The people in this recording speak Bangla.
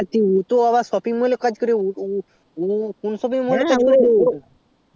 উ তো আবা shopping mol এ কাজ করে উ উ